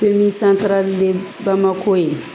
Ni santarali de bamako ye